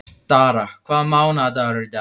Dara, hvaða mánaðardagur er í dag?